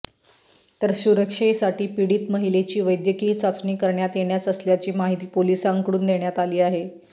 तर सुरक्षेसाठी पीडित महिलेची वैद्यकीय चाचणी करण्यात येणार असल्याची माहिती पोलिसांकडून देण्यात आली आहे